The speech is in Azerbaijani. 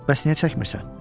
Bəs niyə çəkmirsən?